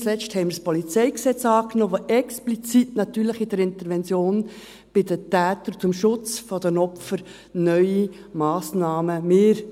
Nicht zuletzt haben wir das Polizeigesetz (PolG) angenommen, das natürlich explizit in der Intervention bei den Tätern zum Schutz der Opfer neue Massnahmen vorsieht.